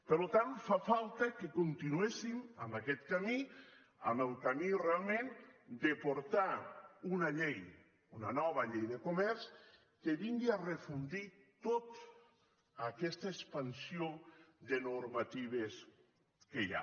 per tant fa falta que continuéssim en aquest camí en el camí realment de portar una llei una nova llei de comerç que vingui a refondre tota aquesta expansió de normatives que hi ha